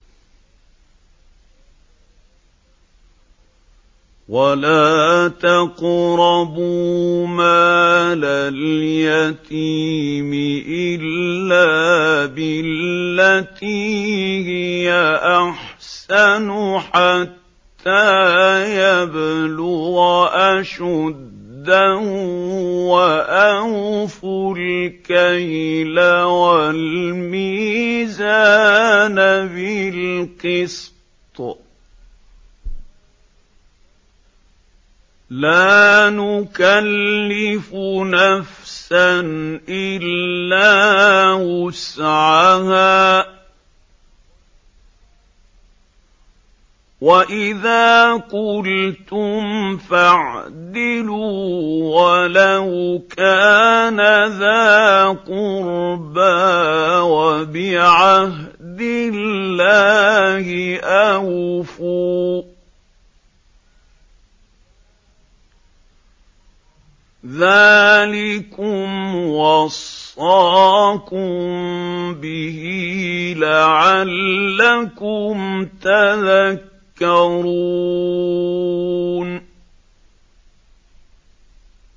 وَلَا تَقْرَبُوا مَالَ الْيَتِيمِ إِلَّا بِالَّتِي هِيَ أَحْسَنُ حَتَّىٰ يَبْلُغَ أَشُدَّهُ ۖ وَأَوْفُوا الْكَيْلَ وَالْمِيزَانَ بِالْقِسْطِ ۖ لَا نُكَلِّفُ نَفْسًا إِلَّا وُسْعَهَا ۖ وَإِذَا قُلْتُمْ فَاعْدِلُوا وَلَوْ كَانَ ذَا قُرْبَىٰ ۖ وَبِعَهْدِ اللَّهِ أَوْفُوا ۚ ذَٰلِكُمْ وَصَّاكُم بِهِ لَعَلَّكُمْ تَذَكَّرُونَ